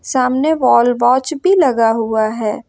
सामने wall watch भी लगा हुआ है।